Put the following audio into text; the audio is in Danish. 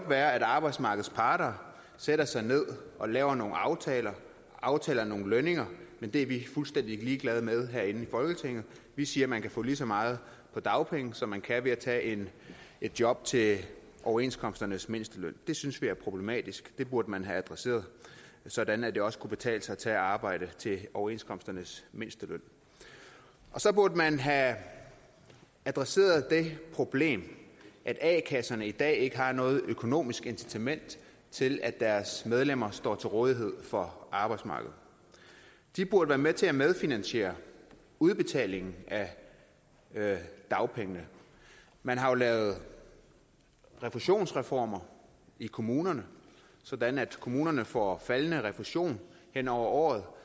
være at arbejdsmarkedets parter sætter sig ned og laver nogle aftaler og aftaler nogle lønninger men det er vi i folketinget fuldstændig ligeglade med vi siger man kan få lige så meget på dagpenge som man kan ved at tage et job til overenskomsternes mindsteløn det synes vi er problematisk det burde man have adresseret sådan at det også kunne betale sig at tage arbejde til overenskomsternes mindsteløn og så burde man have adresseret det problem at a kasserne i dag ikke har noget økonomisk incitament til at deres medlemmer står til rådighed for arbejdsmarkedet de burde være med til at medfinansiere udbetalingen af dagpengene man har jo lavet refusionsreformer i kommunerne sådan at kommunerne får faldende refusion hen over året og